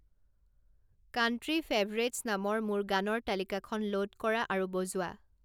country favourites নামৰ মোৰ গানৰ তালিকাখন ল'ড কৰা আৰু বজোৱা